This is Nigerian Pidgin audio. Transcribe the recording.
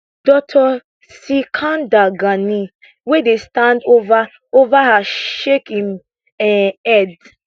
dr sikandar ghani wey dey stand ova ova her shake im um head